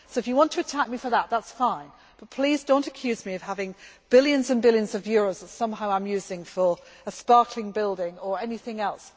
budget. So if you want to attack me for that, that is fine, but please do not accuse me of having billions and billions of euro that somehow I am using for a sparkling building or anything